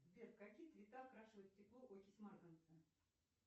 сбер в какие цвета окрашивает стекло окись марганца